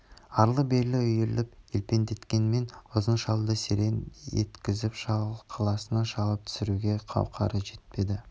арлы-берлі үйіріп елпеңдеткенмен ұзын шалды серең еткізіп шалқасынан шалып түсіруге қауқары жетпеді